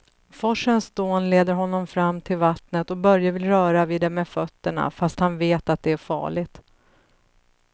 Forsens dån leder honom fram till vattnet och Börje vill röra vid det med fötterna, fast han vet att det är farligt.